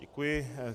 Děkuji.